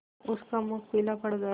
उसका मुख पीला पड़ गया